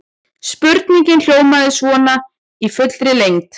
Spurningin hljómaði svona í fullri lengd: